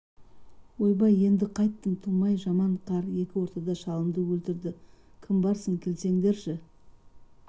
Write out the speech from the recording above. ойбай енді қайттым тумай жаман қар екі ортада шалымды өлтірді кім барсың келсеңдерші